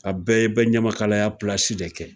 A bɛɛ ye bɛ ɲamakalaya pilasi de kɛ